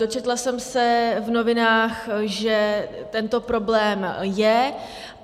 Dočetla jsem se v novinách, že tento problém je.